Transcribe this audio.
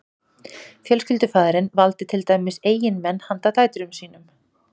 fjölskyldufaðirinn valdi til dæmis eiginmenn handa dætrum sínum